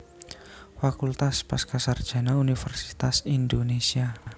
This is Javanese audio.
Fakultas Pasca Sarjana Universitas Indonesia